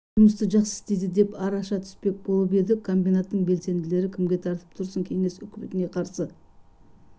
жұмысты жақсы істейді деп араша түспек болып еді комбинаттың белсенділері кімге тартып тұрсың кеңес үкіметіне қарсы